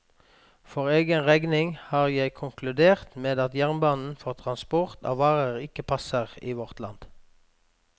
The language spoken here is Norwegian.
For egen regning har jeg konkludert med at jernbanen for transport av varer ikke passer i vårt land.